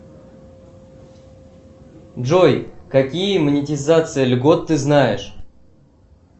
джой какие монетизации льгот ты знаешь